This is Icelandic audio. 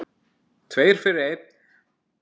Tveir fyrir einn.